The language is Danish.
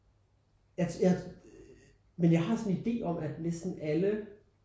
Jeg jeg men jeg har sådan en idé om at næsten alle